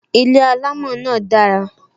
Ilé alamo náà dara